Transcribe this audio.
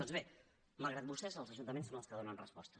doncs bé malgrat vostès els ajuntaments són els que hi donen resposta